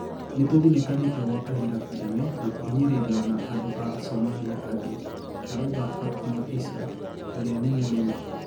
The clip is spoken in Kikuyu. "Nituthinikanitio gwa kahinda kanene na kuhinyiririo na andu a Somalia angi, arauga Fatima Issa, uria ni murimi